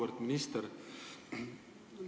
Auväärt minister!